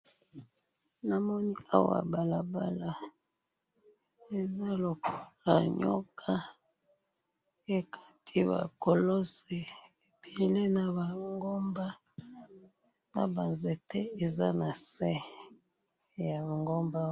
namoni awa balabala eza lokola nyoka ekati ba kolosi ebele naba ngomba naba nzete eza nase yaba ngomba wana